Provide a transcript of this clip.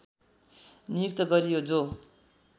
नियुक्त गरियो जो